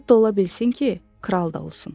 Hətta ola bilsin ki, kral da olsun.